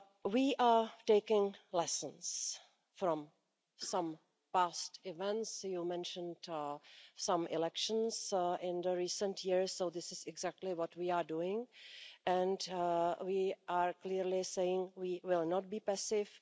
We are taking lessons from some past events you mentioned some elections in recent years, so this is exactly what we are doing, and we are clearly saying we will not be passive.